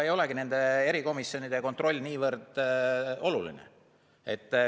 Ehk nende erikomisjonide kontroll ei ole väga oluline.